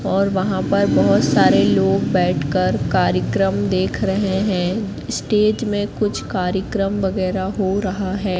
और वहां पर बहुत सारे लोग बैठकर कार्यक्रम देख रहे हैं स्टेज में कुछ कार्यक्रम वगैरह हो रहा है।